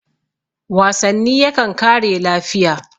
wasanni yakan kare lafiya